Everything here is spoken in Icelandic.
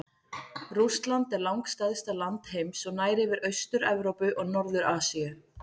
Rússland er langstærsta land heims og nær yfir Austur-Evrópu og Norður-Asíu.